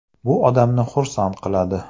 Bu odamni xursand qiladi.